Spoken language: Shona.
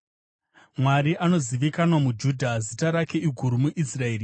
Mwari anozivikanwa muJudha; zita rake iguru muIsraeri.